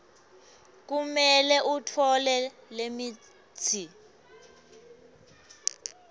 kumele utfole lemitsi